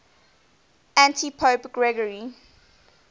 antipope gregory